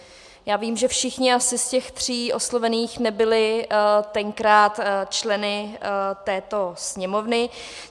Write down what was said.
Já vím, že všichni asi z těch tří oslovených nebyli tenkrát členy této Sněmovny.